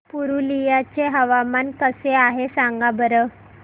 पुरुलिया चे हवामान कसे आहे सांगा बरं